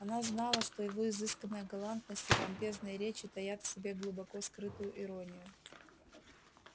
она знала что его изысканная галантность и помпезные речи таят в себе глубоко скрытую иронию